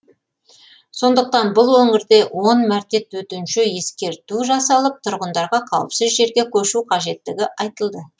сондықтан бұл өңірде он мәрте төтенше ескерту жасалып тұрғындарға қауіпсіз жерге көшу қажеттігі айтылды